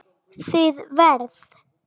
Þið verð